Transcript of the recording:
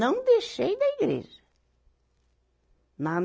Não deixei da igreja. na